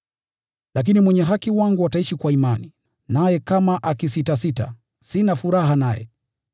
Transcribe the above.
Lakini mwenye haki wangu ataishi kwa imani. Naye kama akisitasita, sina furaha naye.”